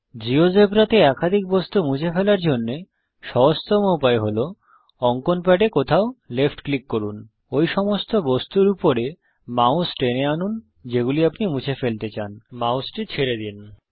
জীয়োজেব্রাতে একাধিক বস্তু মুছে ফেলার জন্যে সহজতম উপায় হলো অঙ্কন প্যাডে কোথাও লেফ্ট ক্লিক করুন ওই সমস্ত বস্তুর উপরে মাউস টেনে আনুন যেগুলি আপনি মুছে ফেলতে চান মাউস টি ছেড়ে দিন